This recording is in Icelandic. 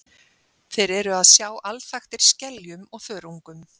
Þeir eru að sjá alþaktir skeljum og þörungum.